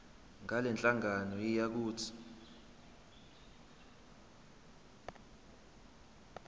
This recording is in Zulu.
ngalenhlangano yiya kut